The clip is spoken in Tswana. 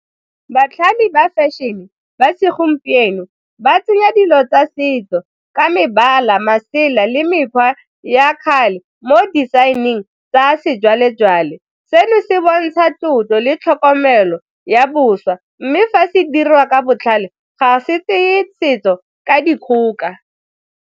Batlhami ba fashion-e ba segompieno ba tsenya dilo tsa setso ka mebala masela le mekgwa ya kgale mo design-eng tsa sejwalejwale, seno se bontsha tlotlo le tlhokomelo ya boswa mme fa se diriwa ka botlhale ga se tseye setso ka dikgoka.